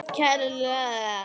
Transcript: Kær kveðja, Baldur